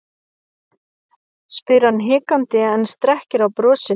spyr hann hikandi en strekkir á brosinu.